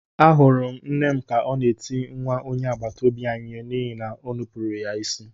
Ahụrụ m nne m ka ọ na-eti nwa onye agbataobi anyị ihe n’ihi na o nupụrụ ya isi.